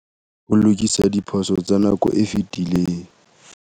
Ho lokisa diphoso tsa nako e fetileng.